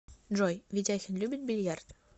джой ведяхин любит бильярд